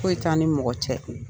Foyi t'an ni mɔgɔ cɛ.